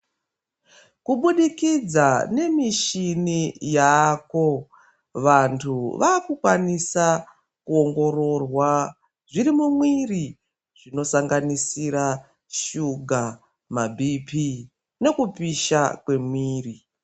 Kubudikidza nemishini yavako vantu vakukwanisa kuongororwa zvirimumwiri zvinosanganisira shuga, mabhiipii nekupisha kwemwiri.